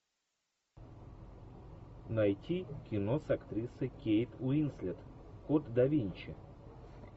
найти кино с актрисой кейт уинслет код да винчи